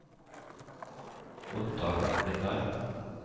Ottar Blindheim